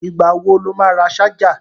Ìgbà wo lo má ra ṣájà?